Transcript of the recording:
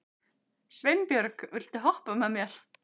Sveinbjörg, viltu hoppa með mér?